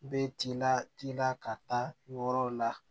Bɛ t'i la tin na ka taa yɔrɔw la